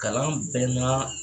Kalan bɛɛ n'a